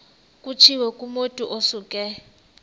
kutshiwo kumotu osuke